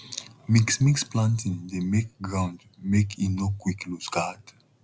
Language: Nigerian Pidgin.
mixmix planting dey make ground make e nor quick looseguard